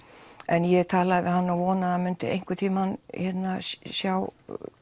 ég talaði við hann og vonaði að hann myndi einhvern tíman sjá